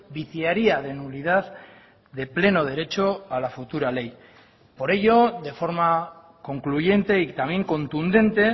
viciaría de nulidad de pleno derecho a la futura ley por ello de forma concluyente y también contundente